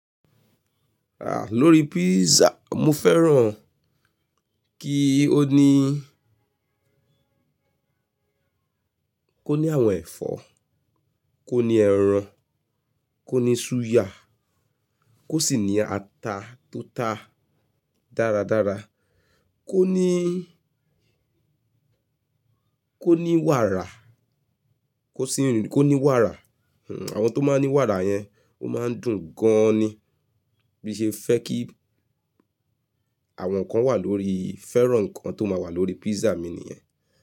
Àà lórí pizza mo fẹ́ràn kí ó ní kó ní àwọn ẹ̀fọ́, kó ní ẹran, kó ní súyà, kó sì ní ata tó ta dáradára, kó ní, kó ní wàrà, kó sì, kó ní wàrà. Awọn tó máa ń ní wàrà yẹn, o máa ń dùn gan-an ni. Bi n ṣe fẹ́ kí àwọn nǹkan wà lórí, fẹ́ràn nǹkan tó máa wà lórí pizza mi nìyẹn.